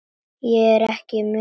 Ég er ekki munkur.